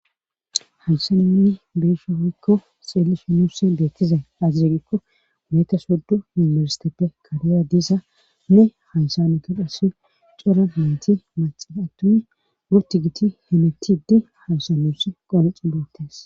Hayssan nunu beuishe woykko xeellishen beettizay aaze giikko issi yunbburestepe karera diza qasse cora nayti maccay attumi guutti giti hemettiidi hayssan nunu qonccides